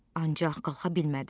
Ancaq qalxa bilmədi.